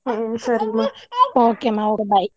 ಹ್ಮ್ ಸರಿ ಮ~ okay ಮಾಡು bye .